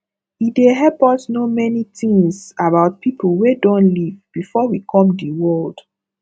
e dey help us know many things about pipo wey don live before we come di world